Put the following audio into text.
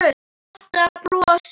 Marta brosir.